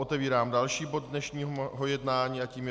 Otevírám další bod dnešního jednání a tím je